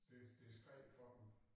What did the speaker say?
Det det skred for dem